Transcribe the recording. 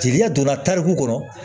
Jeliya donna tariku kɔnɔ